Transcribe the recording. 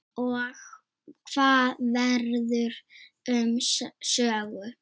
Og hvað verður um Sögu?